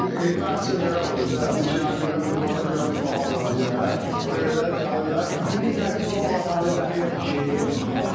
İndi bəs belə olur da, deyir ki, yəni birdən qurbanda biraz baha olar deyə, ona görə gəlirlər diri təkçi 10 manat 50 qəpiyə düşür.